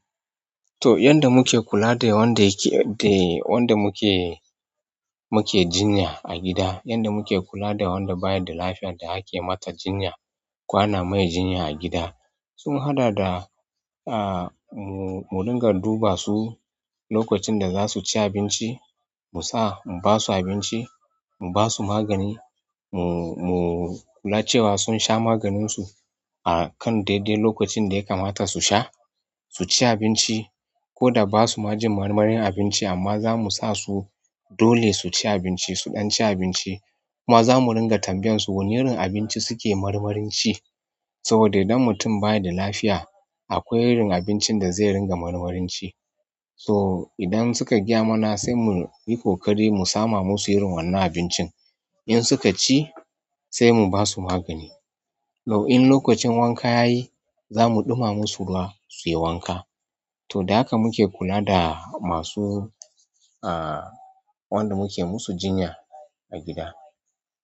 To yanda muke kula da wanda muke muke jinya a gida, yanda muke kula da wanda baya da lafiyar da ake mata jinya, ko ana mai jinya a gida. Sun haɗa da aa mu ringa duba su lokacin da za su ci abinci, mu sa mu basu abinci, mu basu magani, mu mu kula cewa sun sha maganinsu a kan daidai lokacin da ya kamata su sha, su ci abinci ko da basu majin marmarin abinci amma zamu sa su dole su ci abinci su ɗan ci abinci. Kuma zamu ringa tambayan su wani irin abinci suke marmarin ci. Saboda idan mutum baya da lafiya akwai irin abincin da zai ringa marmarin ci. So idan suka gyamana sai muyi ƙoƙari mu sama musu irin wannan abincin. In suka ci sai mu basu magani. To in lokacin wanka yayi, zamu ɗuma masu ruwa suyi wanka. To da haka muke kula da masu aa wanda muke musu jinya a gida.